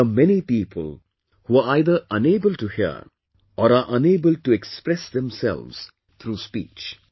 There are many people who are either unable to hear, or are unable to express themselves through speech